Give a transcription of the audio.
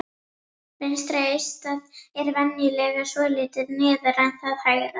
Vinstra eistað er venjulega svolítið neðar en það hægra.